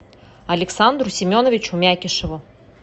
александру семеновичу мякишеву